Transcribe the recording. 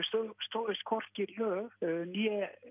stóðust hvorki lög né